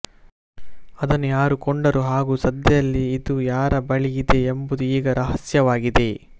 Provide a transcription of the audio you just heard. ಅದನ್ನು ಯಾರು ಕೊಂಡರು ಹಾಗೂ ಸದ್ಯದಲ್ಲಿ ಇದು ಯಾರ ಬಳಿಯಿದೆ ಎಂಬುದು ಈಗ ರಹಸ್ಯವಾಗಿದೆ